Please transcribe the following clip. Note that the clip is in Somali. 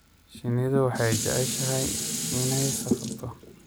Shinnidu waxay jeceshahay inay safarto.